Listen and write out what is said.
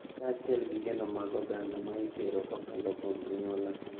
Kaachiel gi geno mag oganda ma itero kokalo kuom anyuola.